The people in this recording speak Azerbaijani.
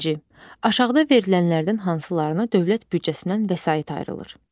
Birinci, aşağıda verilənlərdən hansılarına dövlət büdcəsindən vəsait ayrılır?